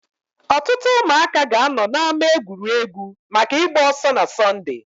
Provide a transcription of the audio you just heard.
Ọtụtụ ụmụaka ga-anọ na ama egwuregwu maka ịgba ọsọ na Sọnde.